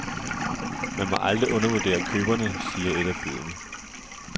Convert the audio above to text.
Man må aldrig undervurdere køberne, siger et af budene.